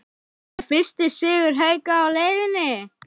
ER FYRSTI SIGUR HAUKA Á LEIÐINNI???